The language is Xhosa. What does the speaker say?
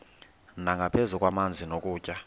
nangaphezu kwamanzi nokutya